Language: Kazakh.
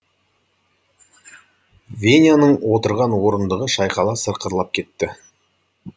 веняның отырған орындығы шайқала сықырлап кетті